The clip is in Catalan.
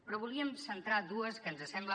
però en volíem centrar dues que ens sembla